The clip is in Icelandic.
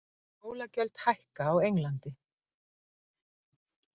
Skólagjöld hækka á Englandi